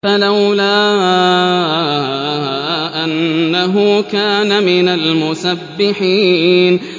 فَلَوْلَا أَنَّهُ كَانَ مِنَ الْمُسَبِّحِينَ